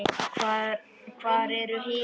Hvar eru hinar?